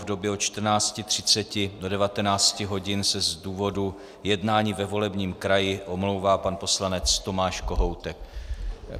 V době od 14.30 do 19 hodin se z důvodu jednání ve volebním kraji omlouvá pan poslanec Tomáš Kohoutek.